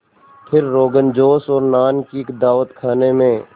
फिर रोग़नजोश और नान की दावत खाने में